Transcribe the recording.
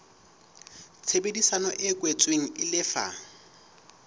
tshebedisano e kwetsweng e lefa